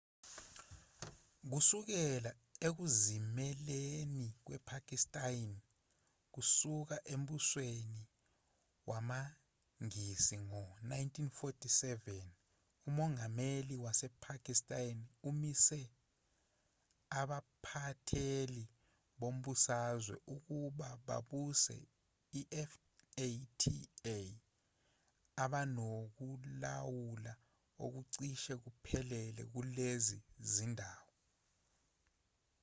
kusukela ekuzimeleni kwepakistan kusuka embusweni wamangisi ngo-1947 umongameli wasepakistan umise abaphatheli bombusazwe ukuba babuse ifata abanokulawula okucishe kuphelele kulezi zindawo